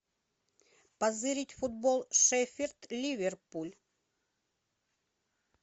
позырить футбол шеффилд ливерпуль